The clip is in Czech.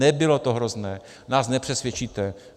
Nebylo to hrozné, nás nepřesvědčíte.